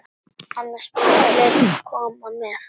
Annars vilja fleiri koma með.